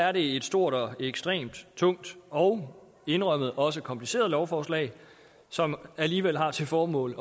er det et stort og ekstremt tungt og indrømmet også kompliceret lovforslag som alligevel har til formål